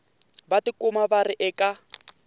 va tikuma va ri eka